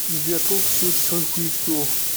сбер сколько всего часовых поясов